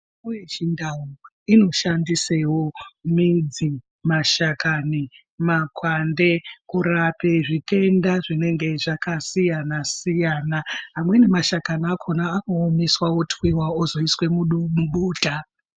Mitombo yechivantu inoshandisewo midzi, mashakani, makwande kurape zvitenda zvinenge zvakasiyana-siyana. Amweni mashakani akhona anoomeswa, otwiwa ozoiswa mudumbuta.